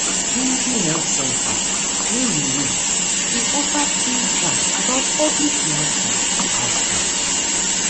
plenty health center wey you know dey offer free class about public reaction to outbreak